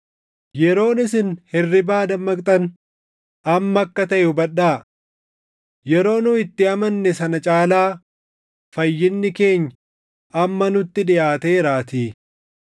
Yeroon isin hirribaa dammaqxan amma akka taʼe hubadhaa. Yeroo nu itti amanne sana caalaa fayyinni keenya amma nutti dhiʼaateeraatii.